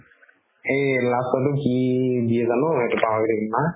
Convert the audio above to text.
এই last ৰ তো কি হয় জানো এইটো পাহৰি থাকিলো না